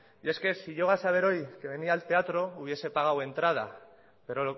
y es que si llego a saber hoy que venía al teatro hubiese pagado entrada pero